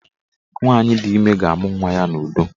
Nwaanyị di ime ga-amụ nwa ya n'udo